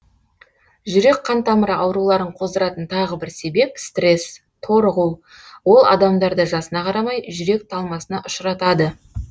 жүрек қан тамыры ауруларын қоздыратын тағы бір себеп стресс торығу ол адамдарды жасына қарамай жүрек талмасына ұшыратады